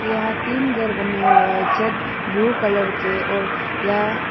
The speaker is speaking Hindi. यहां तीन घर बनाए हुए हैं ब्लू कलर के और यह--